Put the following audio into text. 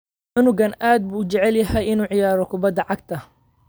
Cunugani aad buu u jecel yahay inuu ciyaaro kubbadda cagta